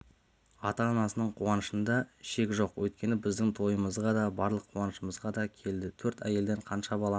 ата-анасының қуанышында шек жоқ өйткені біздің тойымызға да барлық қуанышымызға да келді төрт әйелден қанша балаңыз